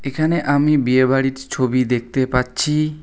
এখানে আমি বিয়েবাড়ির ছ ছবি দেখতে পাচ্ছি।